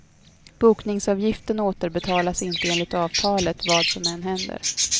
Bokningsavgiften återbetalas inte enligt avtalet, vad som än händer.